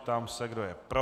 Ptám se, kdo je pro?